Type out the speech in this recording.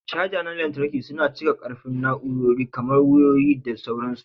Caja na lantarki suna cika ƙarfin na'urori kamar wayoyi, da sauransu.